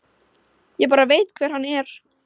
Ég bara veit hver hann er.